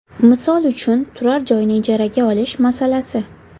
Misol uchun turar joyni ijaraga olish masalasi.